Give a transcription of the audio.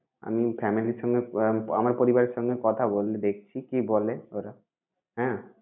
আমি family র সঙ্গে আহ আমার পরিবারের সঙ্গে কথা বলে দেখছি কি বলে ওরা হ্যাঁ।